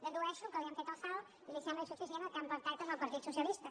dedueixo que li han fet el salt i li sembla insuficient el que han pactat amb el partit socialista